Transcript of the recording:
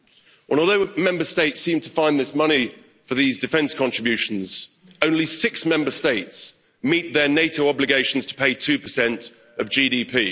Although Member States seem to find this money for these defence contributions, only six Member States meet their NATO obligations to pay 2 of GDP.